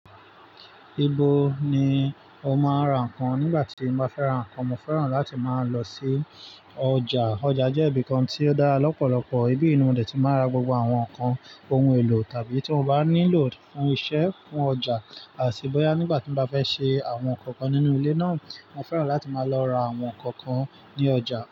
Ibo ni o máa ń ra nǹkan? Nígbà tí mo bá fẹ́ra ǹkan, mo fẹ́ràn láti máa lọ sí ọjà. Ọjà jẹ́ ibi kan tí ó dára lọ́pọ̀lọpọ̀, ibí ni mo dé tí màá ra gbogbo àwọn ǹkan ohun-èlò tàbí tí mo bá nílò fún iṣẹ́, fún ọjà àti bóyá nígbà tí mo bá fẹ́ ṣe àwọn nǹkan kan nínú ilé náà, mo fẹ́ràn láti máa lọ ra àwọn nǹkan kan ní ọjà.